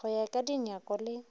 go ya ka dinyako le